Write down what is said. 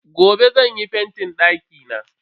Gobe zan yi fentin dakina.